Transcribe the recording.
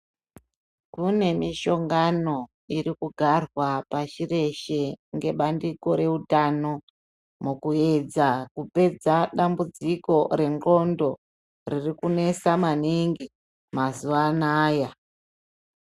Kune mishongano irikugarwa pashi reshe ngebandiko reutano mukuyedza kupedza dambudziko rendxondo ririkunesa maningi mazuva anaya.